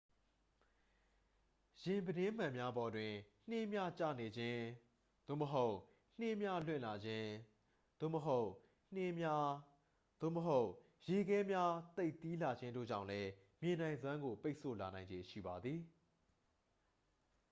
ယာဉ်ပြတင်းမှန်များပေါ်တွင် နှင်းများကျနေခြင်း သို့မဟုတ် နှင်းများလွင့်လာခြင်း သို့မဟုတ် နှင်းများ သို့မဟုတ် ရေခဲများသိပ်သည်းလာခြင်းတို့ကြောင့်လည်း မြင်နိုင်စွမ်းကို ပိတ်ဆို့လာနိုင်ခြေရှိပါသည်